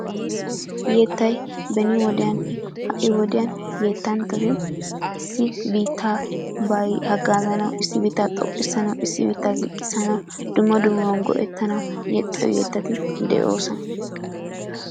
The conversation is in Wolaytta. Yettay beni wodiyaan ha'i wodiyaan yetanchchati issi bittabay hagaa gaanawu issi biitta xoqqisanawu issi biitta ziqqisanaw dumma dummaba go'ettanawu yexiyoo yettati de'ossona.